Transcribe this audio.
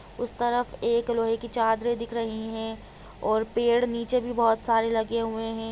हाँ एक बड़ी सी दुकान दिख रही है उसके बहार एक वाइट स्कूटी खड़ी हुई है पेनस की दुकान है वो।